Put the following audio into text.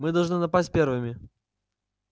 мы должны напасть первыми